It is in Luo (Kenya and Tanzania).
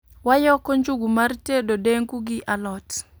Wayoko njugu mar tedo dengu gi a lot